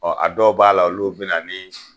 Ɔɔ a dɔw b'a la olu bi na ni